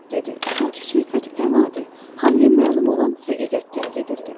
dedi, sanki söhbət ən adi, hamıya məlum olan həqiqətdən gedirdi.